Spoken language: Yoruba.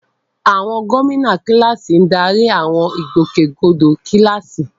Àwọn gómìnà kíláàsì ń darí àwọn ìgbòkègbodò kíláàsì.